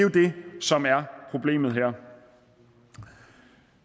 som er problemet her